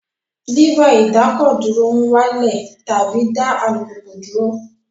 Lẹ́fà ìdákọ̀dúró ń wá lẹ̀ tàbí dá alùpùpù dúró